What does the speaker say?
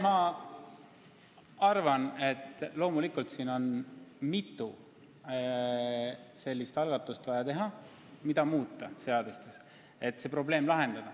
Ma arvan, et selle probleemi lahendamiseks on vaja algatada mitme seaduse muutmine.